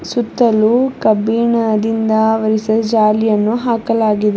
ಸುತ್ತಲು ಕಬ್ಬಿಣದಿಂದ ಅವರಿಸಿದ ಜಾಲಿಯನ್ನು ಹಾಕಲಾಗಿದೆ.